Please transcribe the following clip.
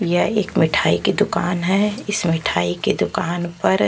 यह एक मिठाई की दुकान है इस मिठाई की दुकान पर --